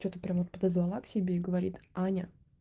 что-то прямо подозвала к себе и говорит аня